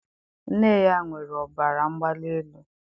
Nne ya nwere ọbara mgbali elu.